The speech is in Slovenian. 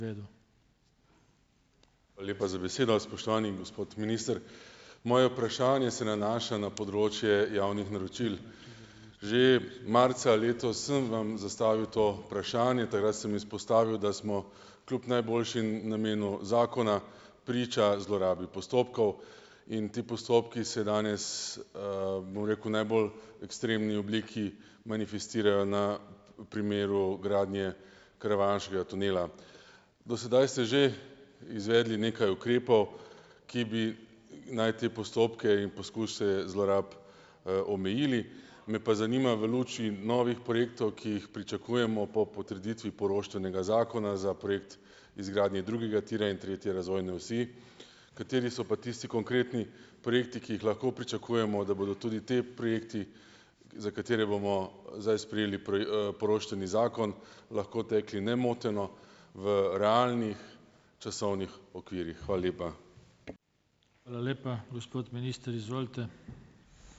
Hvala lepa za besedo, spoštovani gospod minister. Moje vprašanje se nanaša na področje javnih naročil. Že marca letos sem vam zastavil to vprašanje. Takrat sem izpostavil, da smo kljub najboljšim namenom zakona priča zlorabi postopkov in ti postopki se danes, bom rekel, najbolj ekstremni obliki manifestirajo na primeru gradnje karavanškega tunela. Do sedaj ste že izvedli nekaj ukrepov, ki bi naj te postopke in poskuse zlorab, omejili. Me pa zanima, v luči novih projektov, ki jih pričakujemo po potrditvi poroštvenega zakona za projekt izgradnje drugega tira in tretje razvoje osi, kateri so pa tisti konkretni projekti, ki jih lahko pričakujemo, da bodo tudi ti projekti, za katere bomo zdaj sprejeli poroštveni zakon, lahko tekli nemoteno v realnih časovnih okvirih. Hvala lepa.